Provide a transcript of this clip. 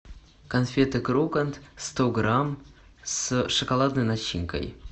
конфеты крокант сто грамм с шоколадной начинкой